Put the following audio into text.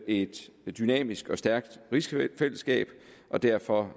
et dynamisk og stærkt rigsfællesskab og derfor